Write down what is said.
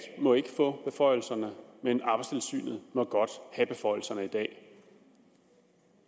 må ikke få beføjelserne men arbejdstilsynet må godt have beføjelserne i dag